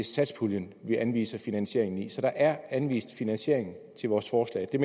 satspuljen vi anviser finansieringen så der er anvist finansiering til vores forslag det